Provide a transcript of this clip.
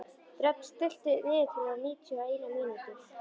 Dröfn, stilltu niðurteljara á níutíu og eina mínútur.